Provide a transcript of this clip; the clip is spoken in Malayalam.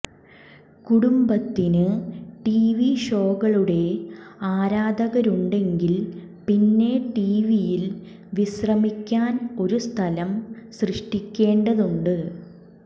കുടുംബത്തിന് ടിവി ഷോകളുടെ ആരാധകരുണ്ടെങ്കിൽ പിന്നെ ടിവിയിൽ വിശ്രമിക്കാൻ ഒരു സ്ഥലം സൃഷ്ടിക്കേണ്ടതുണ്ട്